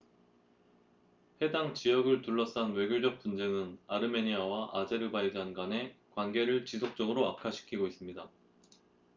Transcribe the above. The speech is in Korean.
해당 지역을 둘러싼 외교적 분쟁은 아르메니아와 아제르바이잔 간의 관계를 지속적으로 악화시키고 있습니다